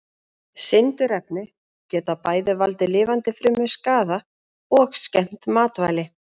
Sindurefni geta bæði valdið lifandi frumum skaða og skemmt matvæli.